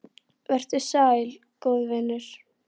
Vertu sæll, góði vinur.